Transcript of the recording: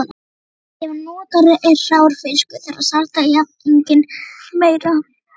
Ef notaður er hrár fiskur þarf að salta jafninginn meira.